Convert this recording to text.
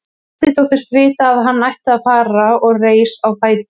Marteinn þóttist vita að hann ætti að fara og reis á fætur.